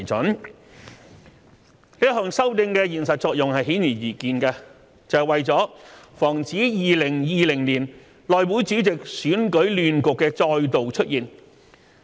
這一項修訂的現實作用是顯而易見的，是為了防止2020年內會主席選舉亂局的再度出現。